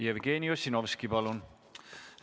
Jevgeni Ossinovski, palun!